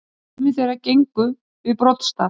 Sumir þeirra gengu við broddstaf.